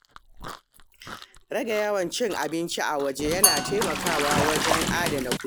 Rage yawan cin abinci a waje yana taimakawa wajen adana kuɗi.